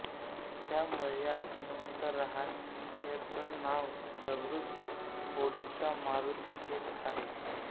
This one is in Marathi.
त्यामुळे या हनुमंतराहायचं नाव जागृत होडीचा मारुती हे आहे